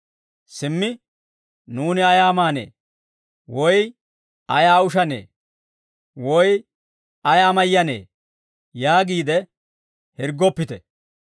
Simmi, ‹Nuuni ayaa maanee? Woy ayaa ushanee? Woy ayaa mayyanee?› yaagiide hirggoppite.